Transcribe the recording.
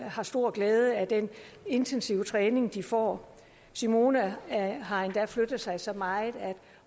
har stor glæde af den intensive træning de får simone har endda flyttet sig så meget at